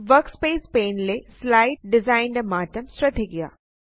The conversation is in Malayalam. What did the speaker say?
വർക്ക്സ്പേസ് പാനെ ലെ സ്ലൈഡ് ഡിസൈൻന്റെ മാറ്റം ശ്രദ്ധിക്കുക